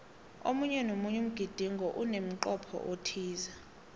omunye nomunye umgidingo unemncopho othize